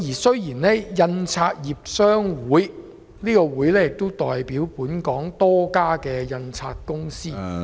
雖然香港印刷業商會也代表本港多家印刷公司......